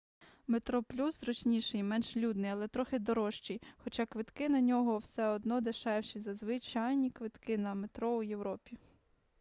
метроплюс зручніший і менш людний але трохи дорожчий хоча квитки на нього все одно дешевші за звичайні квитки на метро у європі